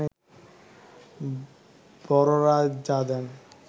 বড়রা যা দেন